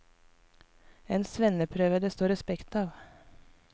En svenneprøve det står respekt av.